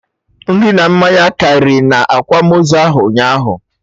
Nri na mmanya karị na akwamozu ahụ ụnyaahụ